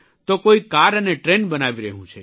તો કોઇ કાર અને ટ્રેન બનાવી રહ્યું છે